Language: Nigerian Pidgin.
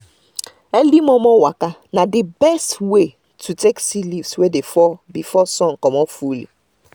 early momo waka na the best way to take see leaves wey dey fall before sun comot fully